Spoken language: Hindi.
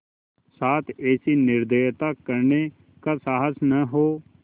साथ ऐसी निर्दयता करने का साहस न हो